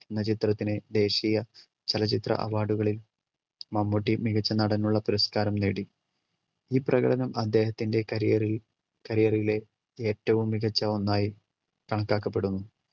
എന്ന ചിത്രത്തിന് ദേശീയ ചലച്ചിത്ര award കളിൽ മമ്മൂട്ടി മികച്ച നടനുള്ള പുരസ്‌കാരം നേടി ഇപ്രകാരം അദ്ദേഹത്തിൻ്റെ career ൽ career ലെ ഏറ്റവും മികച്ച ഒന്നായി കണക്കാക്കപ്പെടുന്നു